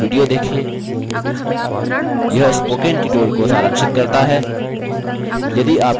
निम्न link पर उपलब्ध video देखें यह spoken tutorial को सारांशित करता है